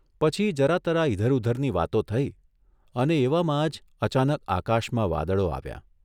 પછી જરા તરા ઇધર ઉધરની વાતો થઇ અને એવામાં જ અચાનક આકાશમાં વાદળો આવ્યાં.